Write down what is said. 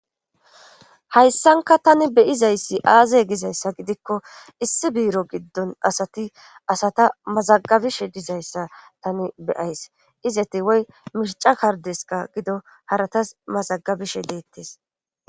Hayssanka tani beyizayssi aaze gizayssa gidikko issi biiro giddon asati asata mazagabishe dizayssa tani beyays izati woy mishica kardeska gido haratas mazagabishe deettes.